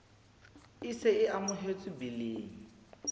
e se e amohetswe biling